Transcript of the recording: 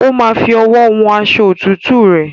Ó ma fi owó hun aṣọ òtútùre